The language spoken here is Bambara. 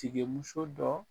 Tigemuso dɔ